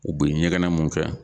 U be ɲɛgɛnɛ mun kɛ